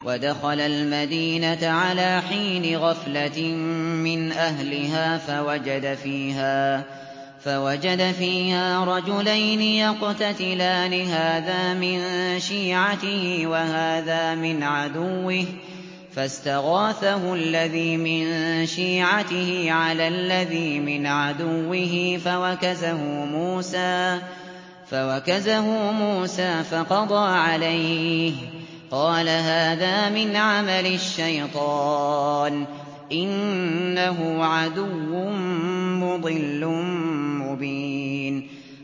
وَدَخَلَ الْمَدِينَةَ عَلَىٰ حِينِ غَفْلَةٍ مِّنْ أَهْلِهَا فَوَجَدَ فِيهَا رَجُلَيْنِ يَقْتَتِلَانِ هَٰذَا مِن شِيعَتِهِ وَهَٰذَا مِنْ عَدُوِّهِ ۖ فَاسْتَغَاثَهُ الَّذِي مِن شِيعَتِهِ عَلَى الَّذِي مِنْ عَدُوِّهِ فَوَكَزَهُ مُوسَىٰ فَقَضَىٰ عَلَيْهِ ۖ قَالَ هَٰذَا مِنْ عَمَلِ الشَّيْطَانِ ۖ إِنَّهُ عَدُوٌّ مُّضِلٌّ مُّبِينٌ